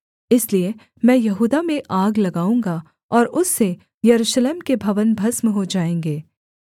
इसलिए मैं यहूदा में आग लगाऊँगा और उससे यरूशलेम के भवन भस्म हो जाएँगे